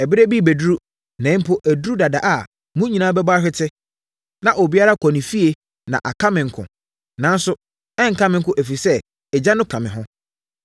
Ɛberɛ bi rebɛduru, na mpo aduru dada a mo nyinaa bɛbɔ ahwete na obiara akɔ ne fie na aka me nko. Nanso, ɛrenka me nko ɛfiri sɛ, Agya no ka me ho.